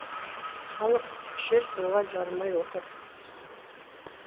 халық ішер суға жарымай отыр